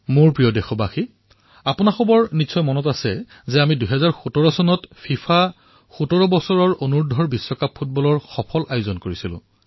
মোৰ মৰমৰ দেশবাসীসকল আপোনালোকৰ মনত আছে আমি ২০১৭ চনত ফিফা ১৭ অনুৰ্ধ বিশ্বকাপৰ সফল আয়োজন কৰিছিলো